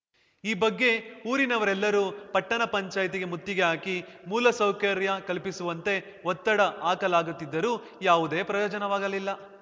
ಈ ಬಗ್ಗೆ ಊರಿನವರೆಲ್ಲರೂ ಪಟ್ಟಣಪಂಚಾಯ್ತಿಗೆ ಮುತ್ತಿಗೆ ಹಾಕಿ ಮೂಲ ಸೌಕರ್ಯ ಕಲ್ಪಿಸುವಂತೆ ಒತ್ತಡ ಹಾಕಲಾಗಿತ್ತಾದರೂ ಯಾವುದೇ ಪ್ರಯೋಜನವಾಗಲಿಲ್ಲ